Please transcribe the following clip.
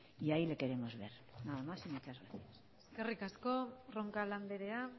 y ahí le queremos ver nada más y muchas gracias eskerrik asko roncal andrea